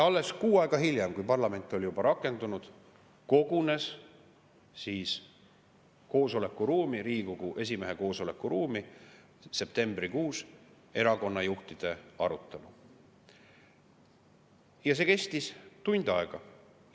Alles kuu aega hiljem, septembrikuus, kui parlament oli juba rakendunud, toimus Riigikogu esimehe koosolekuruumis erakonnajuhtide arutelu ja see kestis tund aega.